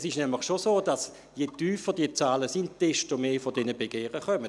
Es trifft nämlich schon zu, dass je tiefer diese Zahlen sind, desto mehr solcher Begehren kommen.